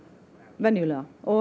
venjulega og